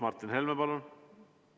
Martin Helme, palun!